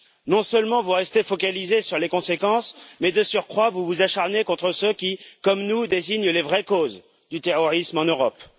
Non seulement vous restez focalisés sur les conséquences mais, de surcroît, vous vous acharnez contre ceux qui, comme nous, désignent les vraies causes du terrorisme en Europe.